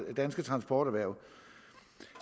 danske transporterhverv